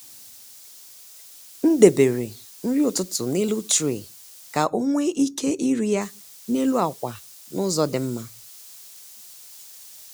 m debere nri ụtụtụ n’elu tray ka ọ nwee ike iri ya n’elu akwa n’ụzọ dị mma.